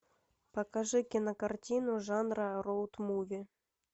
покажи кинокартину жанра роуд муви